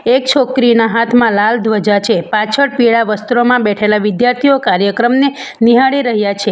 એક છોકરીના હાથમાં લાલ ધ્વજા છે પાછળ પીળા વસ્ત્રોમાં બેઠેલા વિદ્યાર્થીઓ કાર્યક્રમને નિહાળી રહ્યા છે.